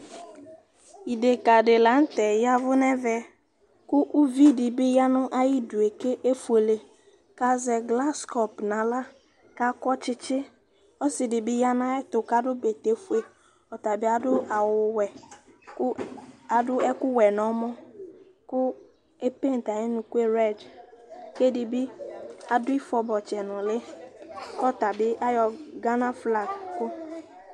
Ideka di la nu tɛ vu nu ɛvɛ, ku uvi di bi ya nu ayi du ku efuele ku azɛ glase kɔpu nu aɣla, ku akɔ tsitsi, ɔsi di bi ya nu ayu ɛtu ku adu bɛtɛ ƒue, ɔtabi adu awu wɛ ku adu ɛku wɛ nu ɔmɔ ku epinte ayu unukue red ku edibi adu ayu ifɔ bɔtsɛ nuli ku ɔta bi ayɔ Ghana flover